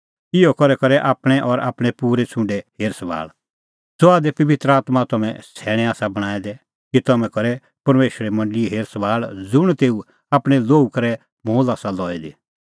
इहअ करै आपणीं और आपणैं पूरै छ़ुंडे करै हेर सभाल़ ज़हा दी पबित्र आत्मां तम्हैं सैणैं आसा बणांऐं दै कि तम्हैं करै परमेशरे मंडल़ीए हेरसभाल़ ज़ुंण तेऊ आपणैं लोहू करै मोल आसा लई दी